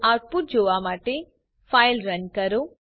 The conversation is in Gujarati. તો આઉટપુટ જોવા માટે ફાઇલ રન કરો